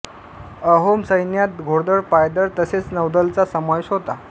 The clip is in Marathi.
अहोम सैन्यात घोडदळ पायदळ तसेच नौदलचा समावेश होता